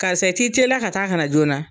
Karisa i ti teliya ka taa kana na joona.